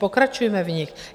Pokračujme v nich.